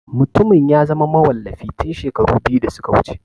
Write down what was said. Mutumin ya zama mawallafi tun shekaru biyu da suka wuce.